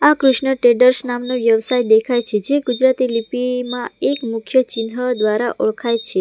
આ કૃષ્ણ ટ્રેડર્સ નામનો વ્યવસાય દેખાય છે જે ગુજરાતી લિપિમાં એક મુખ્ય ચિન્હ દ્વારા ઓળખાય છે.